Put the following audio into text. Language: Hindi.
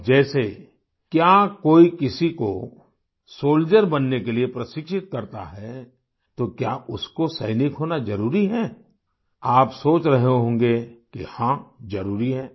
अब जैसे क्या कोई किसी को सोल्डियर बनने के लिए प्रशिक्षित करता है तो क्या उसको सैनिक होना जरूरी है आप सोच रहे होंगे कि हाँ जरुरी है